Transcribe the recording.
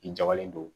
I jabalen don